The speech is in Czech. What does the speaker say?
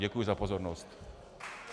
Děkuji za pozornost.